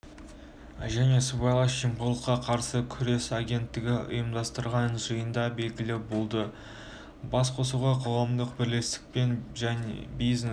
және сыбайлас жемқорлыққа қарсы күрес агенттігі ұйымдастырған жиында белгілі болды басқосуға қоғамдық бірлестік пен бизнес